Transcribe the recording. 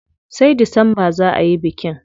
Sai Disamba za ayi bikin.